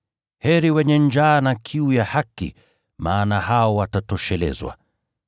Heri wenye njaa na kiu ya haki, maana hao watatoshelezwa.